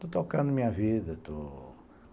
Estou tocando a minha vida, estou